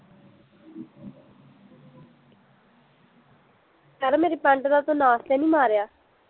ਯਾਰ ਮੇਰੀ ਪੈਂਟ ਦਾ ਤੂੰ ਨਾਸ ਤੇ ਨੀ ਮਾਰਿਆ